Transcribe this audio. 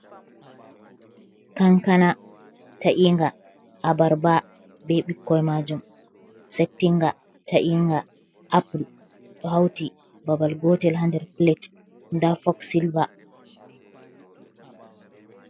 Kankana ta'inga, abarba be ɓikkoi majum setinga, ta’inga, apple ɗo hauti babal gotel ha nder plate, nda fok sylve.